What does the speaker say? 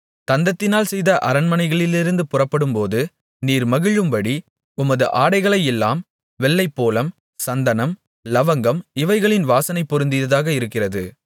தந்தத்தினால் செய்த அரண்மனைகளிலிருந்து புறப்படும்போது நீர் மகிழும்படி உமது ஆடைகளை எல்லாம் வெள்ளைப்போளம் சந்தனம் லவங்கம் இவைகளின் வாசனை பொருந்தியதாக இருக்கிறது